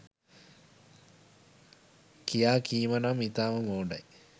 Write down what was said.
කියා කීම නම් ඉතාම මෝඩයි.